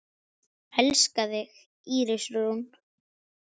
Elska þig, Íris Rún.